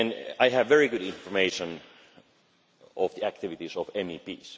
I have very good information on the activities of